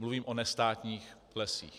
Mluvím o nestátních lesích.